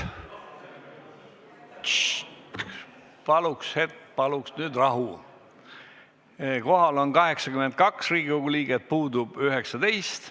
Kohaloleku kontroll Kohal on 82 Riigikogu liiget, puudub 19.